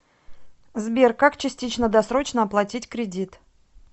сбер как частично досрочно оплатить кредит